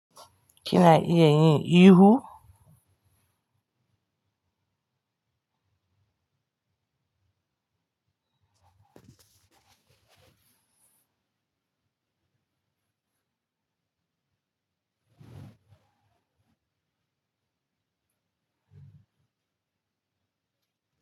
Kina iya yin ihu.